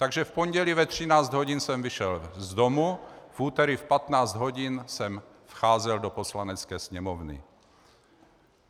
Takže v pondělí ve 13 hodin jsem vyšel z domu, v úterý v 15 hodin jsem vcházel do Poslanecké sněmovny.